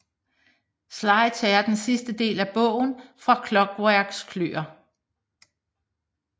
Sly tager den sidste del af bogen fra Clockwerks kløer